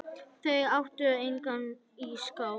Þau áttu engan ísskáp.